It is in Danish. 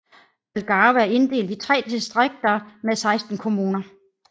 Algarve er inddelt i tre distrikter med 16 kommuner